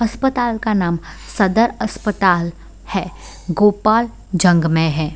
अस्पताल का नाम सदर अस्पताल हैं गोपाल जंग में हैं।